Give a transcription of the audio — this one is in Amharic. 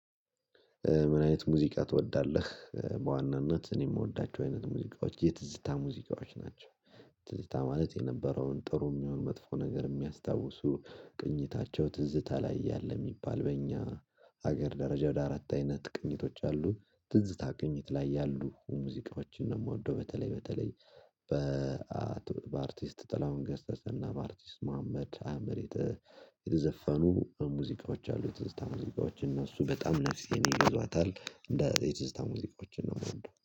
"ምን አይነት ሙዚቃ ትወዳለህ?" በዋናነት እኔ የምወዳቸው አይነት ሙዚቃዎች፣ የትዝታ ሙዚቃዎች ናቸው። ማለት የነበረውን ጥሩም ይሆን መጥፎ ነገር የሚያስታውሱ ቅኝታቸው ትዝታ ላይ ያለ የሚባል በእኛ ሀገር ደረጃ ወደ አራት አይነት ቅኝቶች አሉ። ትዝታ ቅኝት ላይ ያሉ ሙዚቃዎችን ነው የምወደው። በተለይ በተለይ በአርቲስት ጥላሁን ገሰሰና በአርቲስት መሀመድ አህመድ የተዘፈኑ ሙዚቃዎች አሉ የትዝታ ሙዚቃዎች፣ እነሱ በጣም ነፍሴን ይገዟታል። እንደ የትዝታ ሙዚቃዎችን ነው የምወደው።